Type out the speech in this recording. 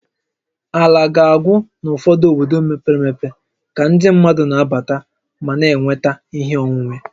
Ala ga-agwụ n'ụfọdụ obodo mepere emepe ka ndị mmadụ na-abata ma na-enweta ihe onwunwe